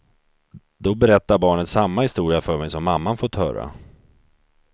Då berättar barnet samma historia för mig som mamman fått höra.